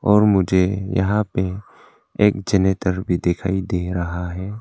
और मुझे यहां पे एक जनरेटर भी दिखाई दे रहा है।